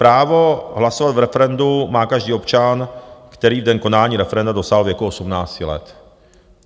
Právo hlasovat v referendu má každý občan, který v den konání referenda dosáhl věku 18 let.